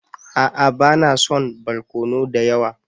A'a ba na son barkono da yawa.